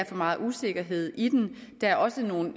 meget usikkerhed i den der er også nogle